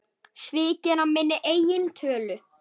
Svikinn af minni eigin tölu.